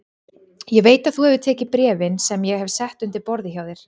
Ég veit að þú hefur tekið bréfin sem ég hef sett undir borðið hjá þér